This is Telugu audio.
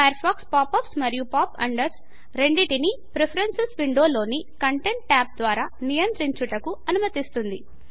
ఫయర్ ఫాక్స్ పాప్ అప్స్ మరియు పాప్ అండర్స రెండిటిని ప్రిఫరేన్సుస్ విండో లోని కంటెంట్ ట్యాబు ద్వరా నియంత్రించుటకు అనుమతిస్తుంది